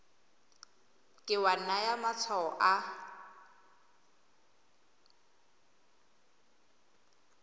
ke wa naya matshwao a